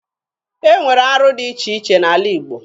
E nwere arụ dị iche iche n'ala Igbo.